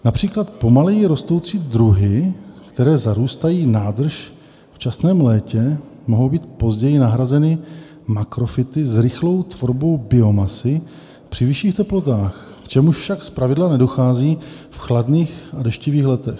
Například pomaleji rostoucí druhy, které zarůstají nádrž v časném létě, mohou být později nahrazeny makrofyty s rychlou tvorbou biomasy při vyšších teplotách, k čemuž však zpravidla nedochází v chladných a deštivých letech.